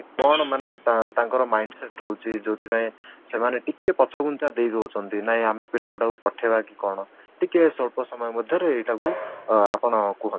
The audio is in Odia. କ'ଣ ମାନେ ତାଙ୍କର mind set ହଉଛି ଯଉଁଥି ପାଇଁ ସେମାନେ ଟିକେ ପଛଘୁଞ୍ଚା ଦେଇଦଉଛନ୍ତି ନାଇଁ ଆମେ ପିଲା ଗୁଡାକୁ ପଠେଇବା କି କ'ଣ ଟିକେ ସ୍ୱଳ୍ପ ସମୟ ମଧ୍ୟ ରେ ଏଇଟାକୁ ଅଂ ଆପଣ କୁହନ୍ତୁ